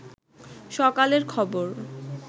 সকালের খবর